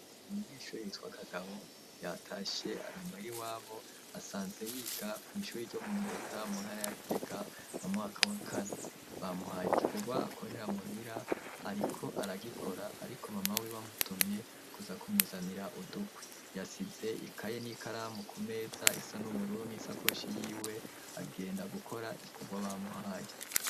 Umunyeshure yitwa Kagabo yatashe ari muhira iwabo, asanze yiga mw'ishure ryo mu Giheta mu ntara ya Gitega mu mwaka wa kane, bamuhaye igikorwa akorere muhira, ariko aragikora, ariko mama wiwe amutumye kuza kumuzanira udukwi, yasize ikaye n'ikaramu ku meza isa n'ubururu n'isakoshi yiwe agenda gukora igikorwa bamuhaye.